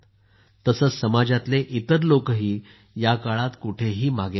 तसेच समाजातले इतर लोकही या काळात कुठेहही मागे नाहीत